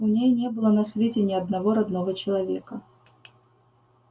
у меня не было на свете ни одного родного человека